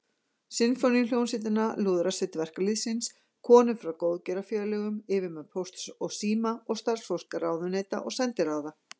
Sinfóníuhljómsveitina, Lúðrasveit verkalýðsins, konur frá góðgerðarfélögum, yfirmenn Pósts og síma og starfsfólk ráðuneyta og sendiráða.